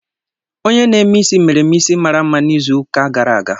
Onye na-eme isi mere m isi mara mma n'izu ụka gara aga.